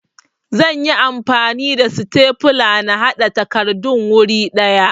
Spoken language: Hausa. Zan yi amfani da sitefula na haɗa takardun wuri ɗaya